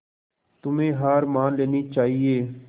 तुम्हें हार मान लेनी चाहियें